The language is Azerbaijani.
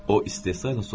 O istehzayla soruşdu.